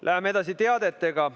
Läheme edasi teadetega.